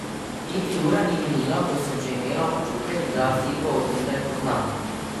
Niti ura ni minila, ko sem že imela občutek, da Silvo od nekdaj poznam.